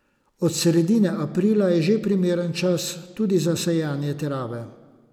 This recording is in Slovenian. Od sredine aprila je že primeren čas tudi za sejanje trave.